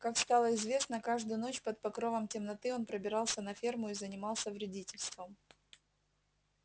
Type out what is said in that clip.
как стало известно каждую ночь под покровом темноты он пробирался на ферму и занимался вредительством